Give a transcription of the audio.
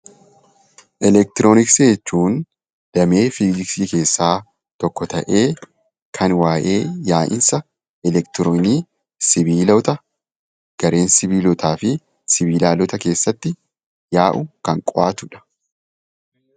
Elektirooniksii jechuun damee Fiiziksii keessaa tokko ta'ee kan waa'ee yaa'iinsa elektiroonii, sibiilota, gariin sibiilotaa fi sibilaala keessatti yaa'uun kan qo'atuudha.